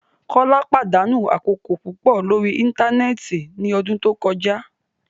Kola padanu akoko pupọ lori íńtánẹ́ẹ̀tì ni ọdun to kọja